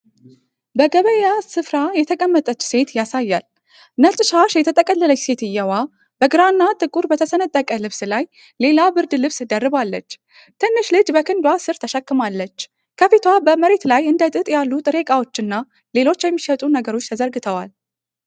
በገበያ ስፍራ የተቀመጠች ሴት ያሳያል። ነጭ ሻሽ የጠቀለለችው ሴትየው በግራና ጥቁር በተሰነጠቀ ልብስ ላይ ሌላ ብርድ ልብስ ደርባለች። ትንሽ ልጅ በክንዷ ስር ተሸክማለች። ከፊቷ በመሬት ላይ እንደጥጥ ያሉ ጥሬ ዕቃዎች እና ሌሎች የሚሸጡ ነገሮች ተዘርግተዋል።